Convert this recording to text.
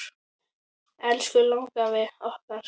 Elsku langafi okkar.